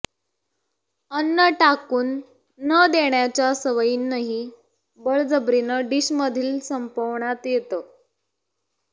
अन्न टाकून न देण्याच्या सवयीनंही बळजबरीनं डिशमधलं संपवण्यात येतं